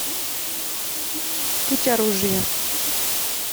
путь оружия